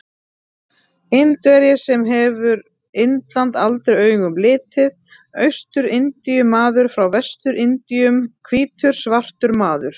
Indverji sem hefur Indland aldrei augum litið, Austur-Indíu-maður frá Vestur-Indíum, hvítur svartur maður.